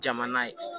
Jamana ye